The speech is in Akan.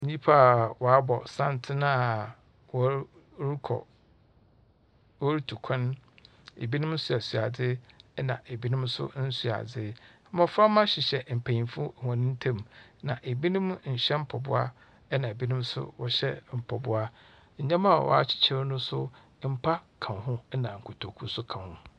Nyimpa wɔabɔ santsen a wɔrokɔ worutu kwan. Binom soasoa adze na binom so nnsoa adze. Mboframba hyehyɛ mpanyimfo hɔn ntamu, na binom nnhyɛ mpaboa na binom so wɔhyɛ mpaboa. Ndzɛmba a wɔakyekyer no so, mpa ka ho na kotoku so ka ho.